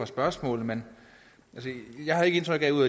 spørgsmålene men jeg har ikke indtryk af ud